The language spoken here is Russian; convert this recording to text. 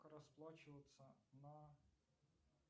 как расплачиваться на